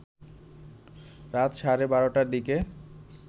রাত সাড়ে ১২টার দিকে